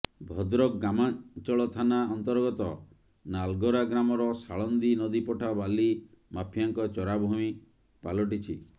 ଭଦ୍ରକ ଗ୍ରାମାଞ୍ଚଳ ଥାନା ଅନ୍ତର୍ଗତ ନାଲଗରା ଗ୍ରାମର ସାଳନ୍ଦୀ ନଦୀପଠା ବାଲି ମାଫିଆଙ୍କ ଚରାଭୂଇଁ ପାଲଟିଛି